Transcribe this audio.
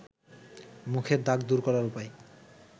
মুখের দাগ দূর করার উপায়